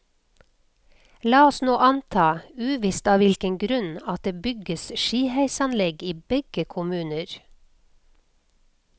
La oss nå anta, uvisst av hvilken grunn, at det bygges skiheisanlegg i begge kommuner.